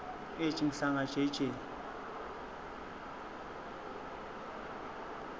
ej mhlanga jj